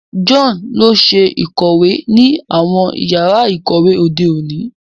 John lọ ṣe ikọwe ni awọn yàrà ikọwe òde òní